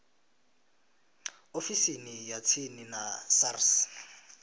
ofisini ya tsini ya sars